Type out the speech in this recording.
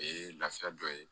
O ye lafiya dɔ ye